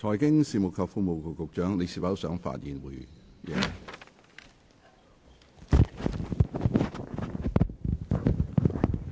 財經事務及庫務局局長，你是否想發言？